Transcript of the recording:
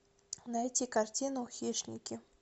найти картину хищники